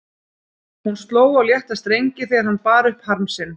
Hún sló á létta strengi þegar hann bar upp harm sinn.